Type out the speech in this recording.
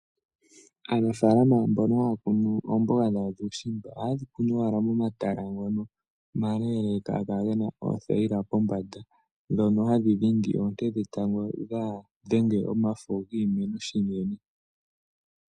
Aanafalama mbono haya kunu oomboga dhawo ,dhuushimba ohaye dhi kunu wala momatala ngono omaleleka haga kala gena oothayila pombanda, dhono hadhi dhindi oonte dhetango dha dhenge omafo giimeno shinene.